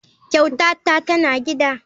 Kyautata tana gida.